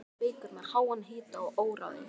Hann var oft veikur með háan hita og óráði.